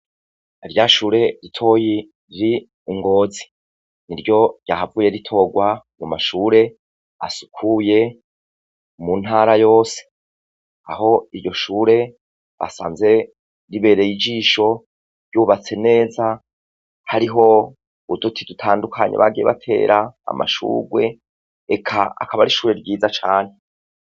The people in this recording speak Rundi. Ryashure ritoya riri ingozi niryo ryahavuye ritorwa mumashure asukuye muntara yose aho iryoshure basanze ribereye ijisho ryubatse neza hariho uduti dutandukanye bagiye batera amashurwe eka akaba arishure ryiza cane